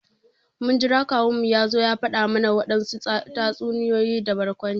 Mun jira kawun mu ya zo ya fada mana wadansu tatsuniyoyi da barkwanci.